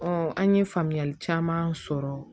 an ye faamuyali caman sɔrɔ